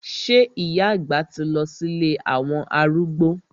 Sé ìyá àgbà ti lọ sí ilé àwọn arúgbó?